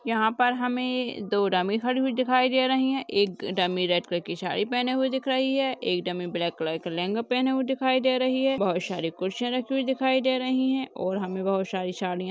यहाँ पर हमें दो डमी खड़ी हुई दिखाई दे रही है एक डमी रेड कलर की साड़ी पहने हुए दिख रही है एक डमी ब्लैक कलर का लहंगा पहने हुए दिखाई दे रही है बहोत सारी कुर्सियां रखे हुए दिखाई दे रही है और हमें बहोत सारी साड़ियां --